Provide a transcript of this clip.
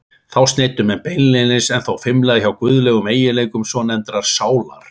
Þá sneiddu menn beinlínis- en þó fimlega- hjá guðlegum eiginleikum svonefndrar sálar.